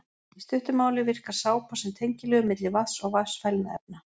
Í stuttu máli virkar sápa sem tengiliður milli vatns og vatnsfælinna efna.